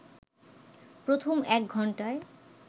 প্রথম এক ঘন্টায়